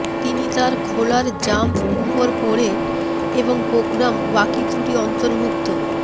তিনি তার খোলার জাম্প উপর পড়ে এবং প্রোগ্রাম বাকি ত্রুটি অন্তর্ভুক্ত